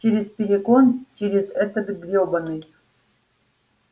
через перегон через этот грёбаный